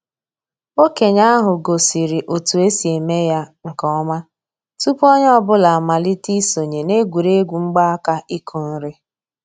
Okenye ahu gosiri otu esi eme ya nke ọma tupu onye ọ bụla amalite isonye na egwuregwu mgbaaka ịkụ nri